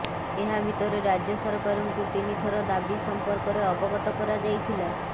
ଏହା ଭିତରେ ରାଜ୍ୟ ସରକାରଙ୍କୁ ତିନିଥର ଦାବି ସମ୍ପର୍କରେ ଅବଗତ କରାଯାଇଥିଲା